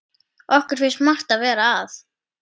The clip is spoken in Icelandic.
Okkur finnst margt vera að.